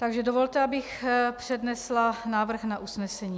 Takže dovolte, abych přednesla návrh na usnesení.